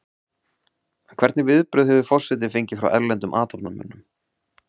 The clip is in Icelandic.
En hvernig viðbrögð hefur forsetinn fengið frá erlendum athafnamönnum?